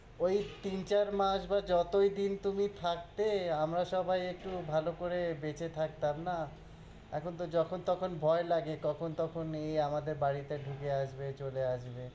ওই তিন-চার মাস বা যতই দিন তুমি থাকতে, আমরা সবাই একটু ভালো করে বেঁচে থাকতাম না, এখন তো যখন তখন ভয় লাগে, কখন তখন এই আমাদের বাড়িতে ঢুকে আসবে, চলে আসবে,